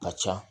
Ka ca